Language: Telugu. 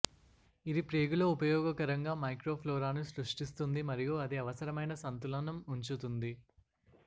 ఇది ప్రేగులో ఉపయోగకరంగా మైక్రోఫ్లోరాను సృష్టిస్తుంది మరియు అది అవసరమైన సంతులనం ఉంచుతుంది